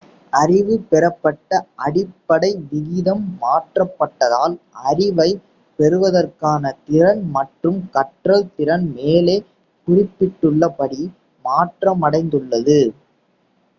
அறிவு பெறப்பட்ட அடிப்படை விகிதம் மாற்றப்பட்டதால் அறிவைப் பெறுவதற்கான திறன் மற்றும் கற்றல் திறன் மேலே குறிப்பிட்டுள்ளபடி மாற்றமடைந்துள்ளது